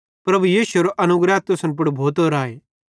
प्रभु यीशु एरो अनुग्रह तुसन पुड़ भोतो राए